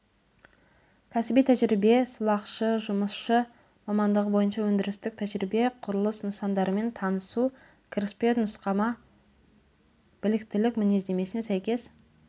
кәсіби тәжірибе сылақшы жұмысшы мамандығы бойынша өндірістік тәжірибе құрылыс нысандарымен танысу кіріспе нұсқама біліктілік мінездемесіне сәйкес